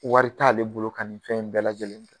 Wari t'ale bolo ka nin fɛn in bɛɛ lajɛlen kɛ